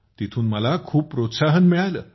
तिथून मला खूप प्रोत्साहन मिळालं